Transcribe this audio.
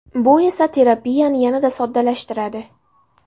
Bu esa terapiyani yanada soddalashtiradi.